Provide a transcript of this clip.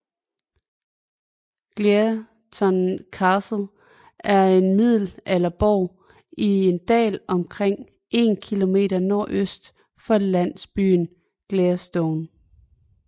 Gleaston Castle er en middelalderborg i en dal omkring 1 km nordøst for landsbyen Gleaston